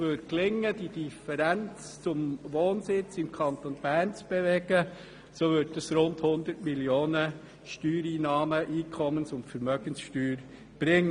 Würde es gelingen, diese Differenz im Wohnsitz in Richtung des Kantons Bern zu bewegen, so würde das rund 100 Mio. Franken Steuereinnahmen – Einkommens- und Vermögenssteuer – bringen.